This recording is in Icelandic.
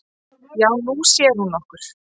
"""Já, Nú sér hún okkur"""